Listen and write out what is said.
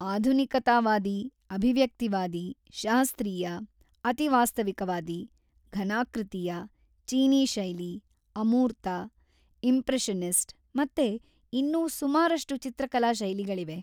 ಆಧುನಿಕತಾವಾದಿ, ಅಭಿವ್ಯಕ್ತಿವಾದಿ, ಶಾಸ್ತ್ರೀಯ, ಅತಿವಾಸ್ತವಿಕವಾದಿ, ಘನಾಕೃತೀಯ, ಚೀನೀ ಶೈಲಿ, ಅಮೂರ್ತ, ಇಂಪ್ರೆಷನಿಸ್ಟ್ ಮತ್ತೆ ಇನ್ನೂ ಸುಮಾರಷ್ಟು ಚಿತ್ರಕಲಾ ಶೈಲಿಗಳಿವೆ.